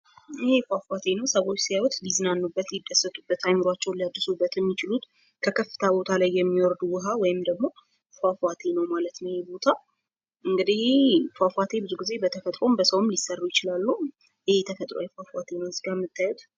ይህ ፏፏቴ ነው። ሰዎች ሲያዩት ሊዝናኑበት ሊደሰቱበት አይምሯቸውን ሊያድሱበት የሚችሉት ከከፍታ ቦታ ላይ የሚወርድ ውሃ ወይም ደግሞ ፏፏቴ ነው ማለት ነው ይህ ቦታ እንግዲህ ይህ ፏፏቴ ብዙ ጊዜ በተፈጥሮም በሰውም ሊሰሩ ይችላሉ። ይህ ተፈጥሯዊ ፏፏቴ ነው እዚህ ጋ ምታዩት።